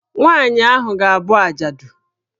Nwaanyị ahụ ga- abụ ajadu.